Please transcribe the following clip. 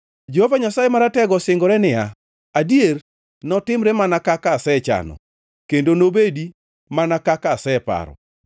Jehova Nyasaye Maratego osingore niya, “Adier, notimre mana kaka asechano kendo nobedi mana kaka aseparo.